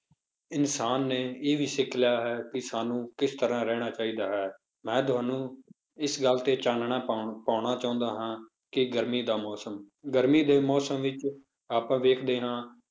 ਇਨਸਾਨ ਨੇ ਇਹ ਵੀ ਸਿੱਖ ਲਿਆ ਹੈ ਵੀ ਸਾਨੂੰ ਕਿਸ ਤਰ੍ਹਾਂ ਰਹਿਣਾ ਚਾਹੀਦਾ ਹੈ, ਮੈਂ ਤੁਹਾਨੂੰ ਇਸ ਗੱਲ ਤੇ ਚਾਨਣਾ ਪਾਉਣਾ ਚਾਹੁੰਦਾ ਹਾਂ ਕਿ ਗਰਮੀ ਦਾ ਮੌਸਮ, ਗਰਮੀ ਦੇ ਮੌਸਮ ਵਿੱਚ ਆਪਾਂ ਵੇਖਦੇ ਹਾਂ,